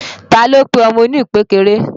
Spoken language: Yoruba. Ta ló pe ọmọ oní ìpékeré?